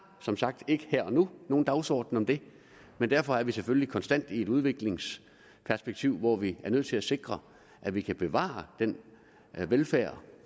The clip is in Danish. som sagt ikke her og nu nogen dagsorden om det men derfor er vi selvfølgelig konstant i et udviklingsperspektiv hvor vi er nødt til at sikre at vi kan bevare den velfærd